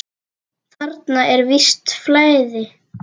Þarna er visst flæði.